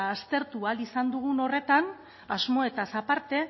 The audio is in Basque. aztertu ahal izan dugun horretan asmoetaz aparte